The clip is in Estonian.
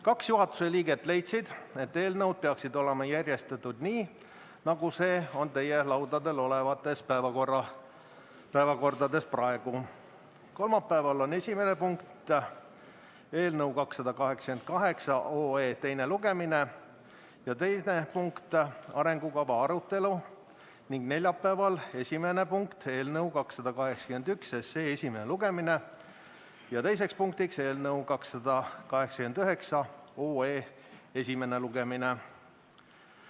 Kaks juhatuse liiget leidsid, et eelnõud peaksid olema järjestatud nii, nagu see on praegu kirjas teie laudadel olevates päevakordades: kolmapäeval on esimene punkt eelnõu 288 teine lugemine ja teine punkt arengukava arutelu ning neljapäeval on esimene punkt eelnõu 281 esimene lugemine ja teine punkt eelnõu 289 esimene lugemine.